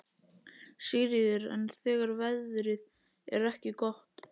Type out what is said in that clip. Sigríður: En þegar veðrið er ekki gott?